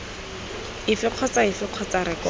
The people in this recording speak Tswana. efe kgotsa efe kgotsa rekoto